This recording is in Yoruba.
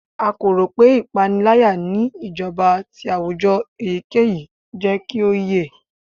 A ko ro pe ipanilaya ni ijọba ti awujọ eyikeyi jẹ ki o yẹ